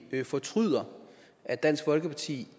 fortryder at dansk folkeparti